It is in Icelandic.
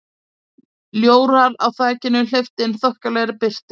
Ljórar á þakinu hleyptu inn þokkalegri birtu.